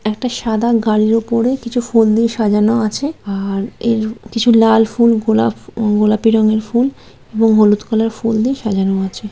একটা সাদা গাড়ির উপরে কিছু ফুল দিয়ে সাজানো আছে আর -এর কিছু লাল ফুল গোলাপ উ গোলাপি রঙের ফুল এবং হলুদ কালারের ফুল দিয়ে সাজানো আছে।